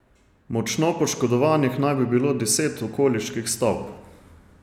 Močno poškodovanih naj bi bilo deset okoliških stavb.